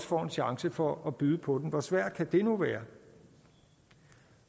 får en chance for at byde på den hvor svært kan det nu være